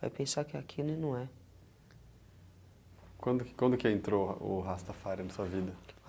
vai pensar que é aquilo e não é. Quando que, quando que entrou o Rastafarianismo sua vida?